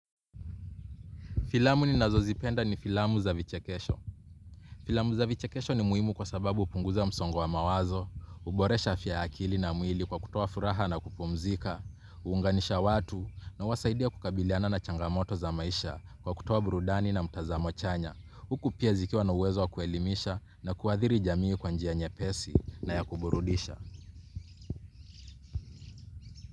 Filamu ninazozipenda ni filamu za vichekesho. Filamu za vichekesho ni muhimu kwa sababu hupunguza msongo wa mawazo, huboresha afya ya akili na mwili kwa kutoa furaha na kupumzika, huunganisha watu na huwasaidia kukabiliana na changamoto za maisha kwa kutoa burudani na mtazamo chanya. Huku pia zikiwa na uwezo wa kuelimisha na kuathiri jamii kwa njia nyepesi na ya kuburudisha.